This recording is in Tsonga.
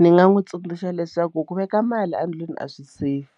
Ni nga n'wi tsundzuxa leswaku ku veka mali endlwini a swi safe